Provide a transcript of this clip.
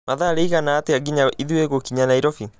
mathaa rĩigana atĩa nginya ithũĩ gũkinya nairobi